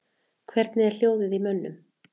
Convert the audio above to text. Hvernig er hljóðið í mönnum?